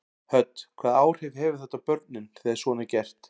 Hödd: Hvaða áhrif hefur þetta á börnin þegar svona er gert?